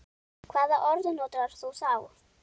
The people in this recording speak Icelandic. Hvaða orð notar þú þá?